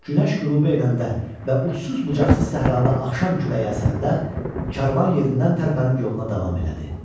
Günəş qürub eləyəndə və ucsuz-bucaqsız səhrada axşam küləyi əsəndə karvan yerindən tərpənib yoluna davam elədi.